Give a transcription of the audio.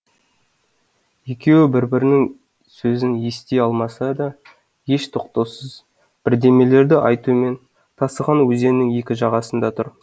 екеуі бір бірінің сөзін ести алмаса да еш тоқтаусыз бірдемелерді айтумен тасыған өзеннің екі жағасында тұр